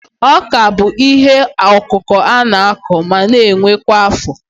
Ọ́kà bụ ihe ọkụkụ a na-akụ ma na-ewe kwa afọ